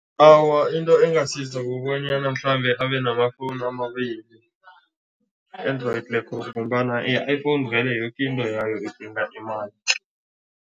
Awa, into engasiza kubonyana mhlambe abe namafowunu amabili, Android ngombana i-iPhone vele yoke into yayo idinga imali.